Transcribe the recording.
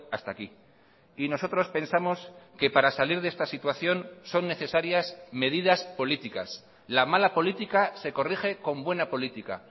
hasta aquí y nosotros pensamos que para salir de esta situación son necesarias medidas políticas la mala política se corrige con buena política